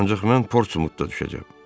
Ancaq mən Portsmutda düşəcəm.